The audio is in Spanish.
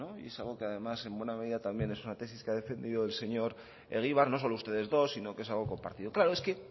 es algo que además en buena medida es una tesis que ha defendido el señor egibar no solo ustedes dos sino que es algo compartido claro es que